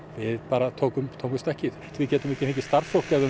við bara tókum tókum stökkið við getum ekki fengið starfsfólk ef það